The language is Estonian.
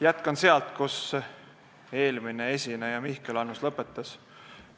Jätkan sealt, kus eelmine esineja Mihkel Annus lõpetas.